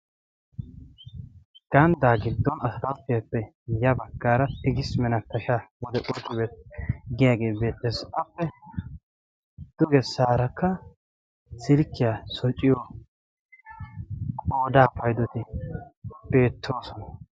ganddaa giddon asatattiyaappe ya baggaara tigis menapasha wode qurx beet' giyaagee beettasi appe dugesaarakka silkkiyaa shociyo qodaa paydoti beettoosona